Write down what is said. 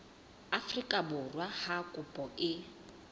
afrika borwa ha kopo e